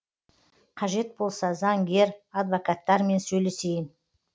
қажет болса заңгер адвокаттармен сөйлесейін